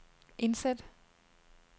indsæt